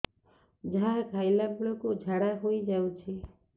ଯାହା ଖାଇଲା ବେଳକୁ ଝାଡ଼ା ହୋଇ ଯାଉଛି